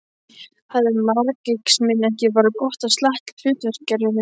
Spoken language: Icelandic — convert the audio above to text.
Hefði marxisminn ekki bara gott af slatta af hlutgervingu.